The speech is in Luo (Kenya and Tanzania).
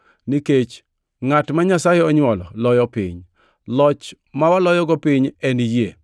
nikech ngʼat ma Nyasaye onywolo loyo piny. Loch ma waloyogo piny en yie.